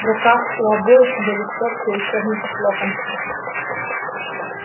в руках у обоих были стопки учебников локонса